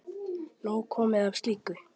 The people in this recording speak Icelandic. Nóg komið af slíku.